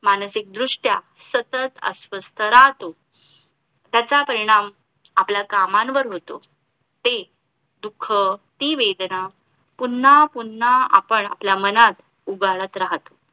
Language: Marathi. मानसिक दृष्ट्या सतत अस्वस्थ राहतो त्याचा परिणाम आपल्या कामांवर होतो ते दुःख ती वेदना पुन्हा पुन्हा आपण आपल्या मनात उगाळत राहतो